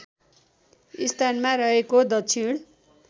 स्थानमा रहेको दक्षिण